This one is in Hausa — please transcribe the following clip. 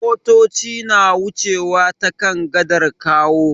Motoci na wucewa ta kan gadar Kawo.